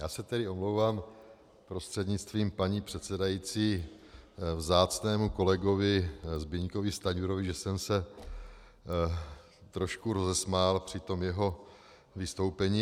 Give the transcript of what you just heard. Já se tedy omlouvám prostřednictvím paní předsedající vzácnému kolegovi Zbyňkovi Stanjurovi, že jsem se trošku rozesmál při tom jeho vystoupení.